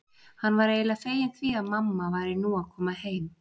Hann var eiginlega feginn því að mamma væri nú að koma heim.